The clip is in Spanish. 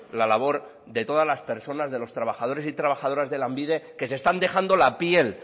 la labor de todas las personas de los trabajadores y trabajadoras de lanbide que se están dejando la piel